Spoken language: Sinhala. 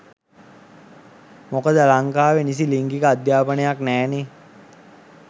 මොකද ලංකාවෙ නිසි ලිංගික අධ්‍යාපනයක් නෑනේ.